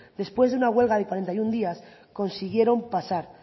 después de una huelga de cuarenta y uno días consiguieron pasar